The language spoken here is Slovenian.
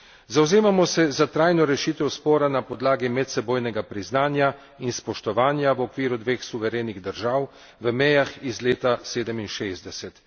Zavzemamo se za trajno rešitev spora na podlagi medsebojnega priznanja in spoštovanja v okviru dveh suverenih držav v mejah iz leta '67.